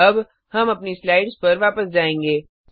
अब हम अपनी स्लाइड्स पर वापस जायेंगे